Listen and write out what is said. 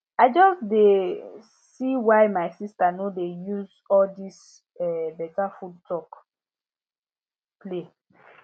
i just dey um see why my sister no dey use all this um better food talk play